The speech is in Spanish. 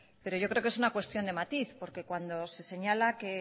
pero yo creo que es una cuestión de matiz porque cuando se señala que